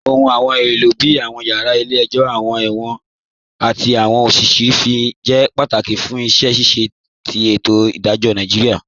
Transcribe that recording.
Awọn ọ̀hun èlo bíi awọn yara ilẹ̀-ẹ̀jọ, awọn èwọ̀n, àti awọn ọ̀fíìsì ofin jẹ́ pátákì fún iṣẹ́ ṣíṣẹ̀ tì ètò idajọ̀ Nàìjíríà